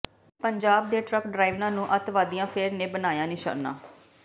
ਪੰਜਾਬ ਦੇ ਟਰੱਕ ਡ੍ਰਾਈਵਰਾਂ ਨੂੰ ਅੱਤਵਦੀਆਂ ਫੇਰ ਨੇ ਬਣਾਇਆ ਨਿਸ਼ਾਨਾ